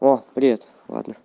о привет ладно